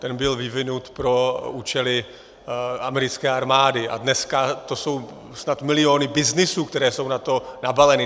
Ten byl vyvinut pro účely americké armády a dneska to jsou snad miliony byznysů, které jsou na to nabaleny.